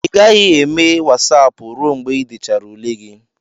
ị gaghị eme Wasapụ ruo mgbe ị dechara ule gị